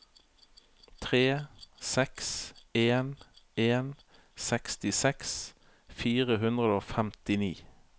tre seks en en sekstiseks fire hundre og femtini